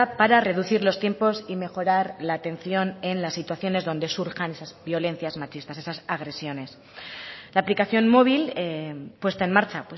para reducir los tiempos y mejorar la atención en las situaciones donde surjan esas violencias machistas esas agresiones la aplicación móvil puesta en marcha